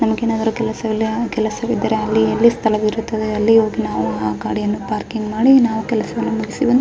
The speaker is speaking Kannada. ನಮಗೆನದರು ಕೆಲಸ ವಿಲ ಕೆಲಸ ವಿದ್ದರೆ ಅಲ್ಲಿ ಇಲ್ಲಿ ಸ್ಥಳ ವಿರುತ್ತದೆ ಅಲ್ಲಿ ಹೋಗಿ ನಾವು ಆ ಗಾಡಿಯನ್ನ ಪಾರ್ಕಿಂಗ ಮಾಡಿ ನಾವು ಕೆಲಸವನ್ನು ಮುಗಿಸಿಕೊಂಡು --